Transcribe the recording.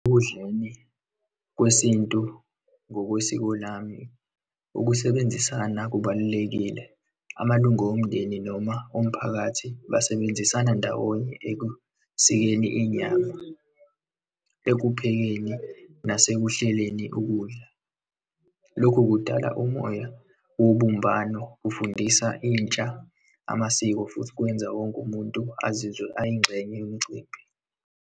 Ekudleni kwesintu ngokwesiko lami, ukusebenzisana kubalulekile. Amalungo omndeni noma omphakathi basebenzisana ndawonye ekusikeni inyama, ekuphekeni nasekuhleleni ukudla. Lokhu kudala umoya wobumbano, kufundisa intsha amasiko, futhi kwenza wonke umuntu azizwe ayingxenye yomicimbi.